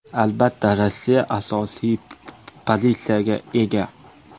Albatta, Rossiya asosiy pozitsiyaga ega.